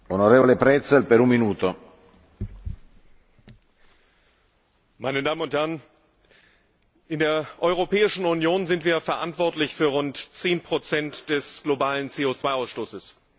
Herr Präsident, meine Damen und Herren! In der Europäischen Union sind wir verantwortlich für rund 10 des globalen CO Ausstoßes.